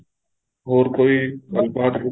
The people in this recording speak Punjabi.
ਹੋਰ ਕੋਈ ਗੱਲ ਬਾਤ ਕੋਈ